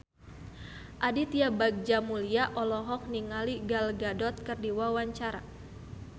Aditya Bagja Mulyana olohok ningali Gal Gadot keur diwawancara